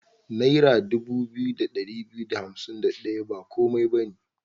Naira dubu biyu da ɗari biyu da hansim da ɗaya ba komai ba ne.